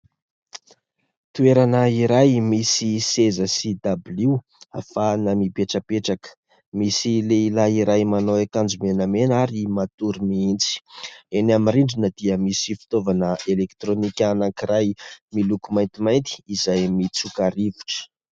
Toerana iray misy seza sy dabilio ahafahana mipetrapetraka. Misy lehilahy iray manao akanjo menamena ary matory mihitsy. Eny amin'ny rindrina dia misy fitaovana elektronika anankiray miloko maintimainty izay mitsoka rivotra.